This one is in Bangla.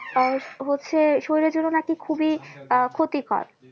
আহ হচ্ছে শরীরের জন্য নাকি খুবই আহ ক্ষতিকর